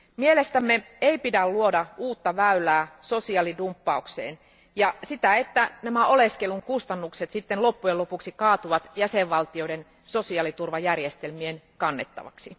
Mielestämme ei pidä luoda uutta väylää sosiaalidumppaukseen ja vältettävä sitä, että oleskelun kustannukset loppujen lopuksi kaatuvat jäsenvaltioiden sosiaaliturvajärjestelmien kannettavaksi.